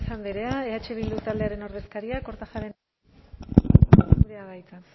andrea eh bildu taldearen ordezkaria kortajarena andrea